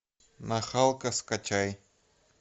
нахалка скачай